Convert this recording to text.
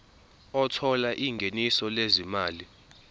othola ingeniso lezimali